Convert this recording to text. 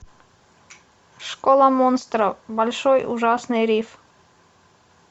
школа монстров большой ужасный риф